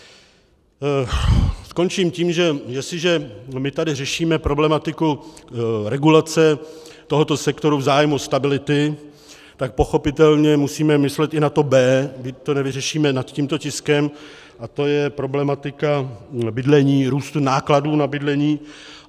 Skončím tím, že jestliže my tady řešíme problematiku regulace tohoto sektoru v zájmu stability, tak pochopitelně musíme myslet i na to B, byť to nevyřešíme nad tímto tiskem, a to je problematika bydlení, růstu nákladů na bydlení.